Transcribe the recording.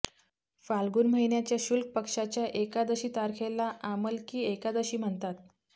फाल्गुन महिन्याच्या शुक्ल पक्षाच्या एकादशी तारखेला आमलकी एकादशी म्हणतात